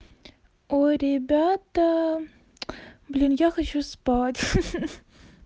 ой ребята блин я хочу спать ха-ха